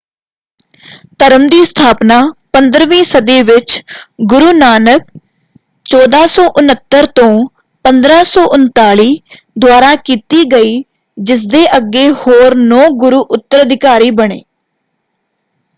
ਧਰਮ ਦੀ ਸਥਾਪਨਾ 15 ਵੀਂ ਸਦੀ ਵਿੱਚ ਗੁਰੂ ਨਾਨਕ 1469-1539 ਦੁਆਰਾ ਕੀਤੀ ਗਈ। ਜਿਸਦੇ ਅੱਗੇ ਹੋਰ ਨੌਂ ਗੁਰੂ ਉੱਤਰਾਧਿਕਾਰੀ ਬਣੇ।